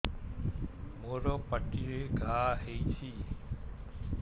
ମୋର ପାଟିରେ ଘା ହେଇଚି